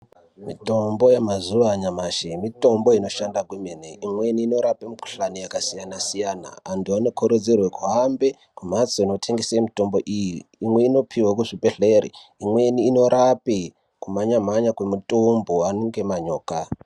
Mitombo yemazuvanyamashe, mitombo inoshanda kumweni inorape mikhuhlane yakasiyana siyana. Antu anokurudzorwe kuhambe kumhatso inotengese mitombo iyi. Imwe inopiwa kuzvibhedhleri, imweni inorape kumhanyamhanya kwemitumbu anenge manyoka.